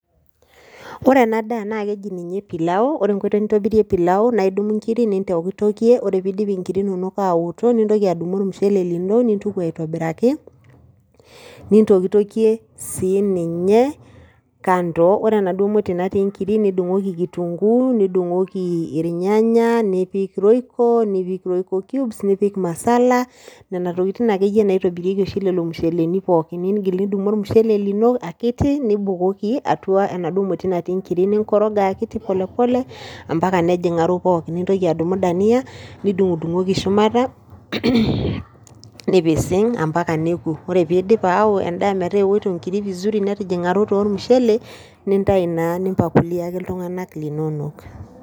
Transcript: Ore ena daa naa keji ninye pilau, ore enkoitoi nintobirie pilau naa idumu nkirri nintokitokie ore pee iidip nkirri inonok aaoto nintoki adumu ormushele lino nintuku aitobiraki nintokitokie sininye kando ore enaduo moti natii nkiri nidung'oki kitunguu nidung'oki irnyanya nipik royco cubes nipik masala nena tokitin akeyie naitobirieki oshi lelo musheleni pookin, niingil nidumu ormushele lino akiti nibukoki atua enaduo moti natii nkirri ninkoroga akiti pole pole ompaka nejing'aro pookin nintoki adumu dania nidung'udung'oki shumata nipising ompaka neoku ore pee iidip aao endaa metaa eoto nkiri vizuri netijing'arote ormushele nintayu naa nimpakuliaki iltung'anak linonok.